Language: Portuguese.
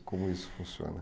Como isso funciona.